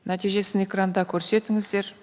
нәтижесін экранда көрсетіңіздер